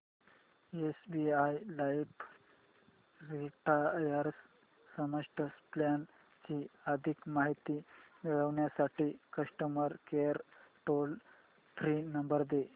SBI life retire smart plan ची अधिक माहिती मिळविण्यासाठी customer care toll free number दे